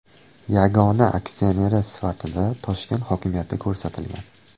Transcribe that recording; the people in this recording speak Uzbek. Yagona aksioneri sifatida Toshkent hokimiyati ko‘rsatilgan.